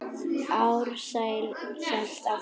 Ársæll hélt áfram.